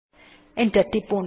enter টিপুন